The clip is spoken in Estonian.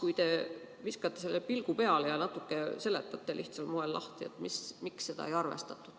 Ehk te viskate sellele pilgu peale ja natuke seletate lihtsal moel lahti, miks seda ei arvestatud.